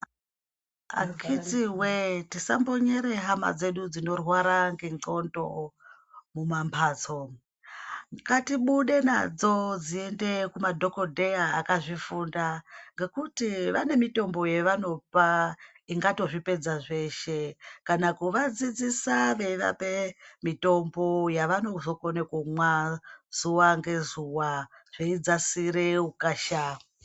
Akiti we tisambonyere hama dzedu dzinorware ngenxlondo mumamhatso ngatibude nadzo dziende kuumadhokodheya akazvifunda ngekuti vane mitombo yevanopa ingato zvipeda zveshe kana kuvadzidzise veivape mitombo yavanozokone kumwa zuwa ngezuwa zveidzasire ukasha.